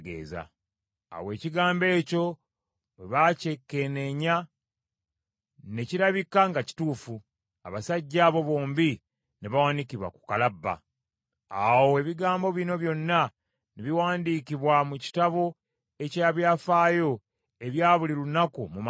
Awo ekigambo ekyo bwe baakyekenneenya, ne kirabika nga kituufu, abasajja abo bombi ne bawanikibwa ku kalabba. Awo ebigambo bino byonna ne biwandiikibwa mu kitabo eky’ebyafaayo ebya buli lunaku mu maaso ga Kabaka.